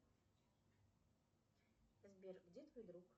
сбер где твой друг